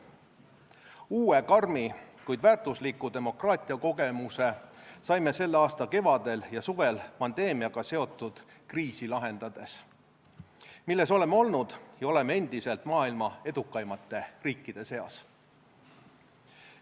Uue karmi, kuid väärtusliku demokraatiakogemuse saime selle aasta kevadel ja suvel pandeemiaga seotud kriisi lahendades, milles oleme olnud ja oleme endiselt maailma edukaimate riikide seas.